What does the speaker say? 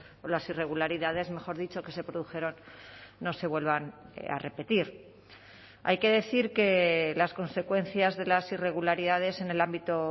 o las irregularidades mejor dicho que se produjeron no se vuelvan a repetir hay que decir que las consecuencias de las irregularidades en el ámbito